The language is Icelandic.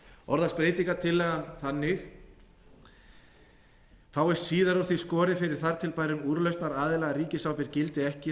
orðast breytingartillagan þannig fáist síðar úr því skorið fyrir þar til bærum úrlausnaraðila að ríkisábyrgð gildi ekki þá